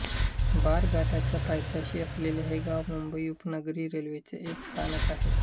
बोरघाटाच्या पायथ्याशी असलेले हे गाव मुंबई उपनगरी रेल्वेचे एक स्थानक आहे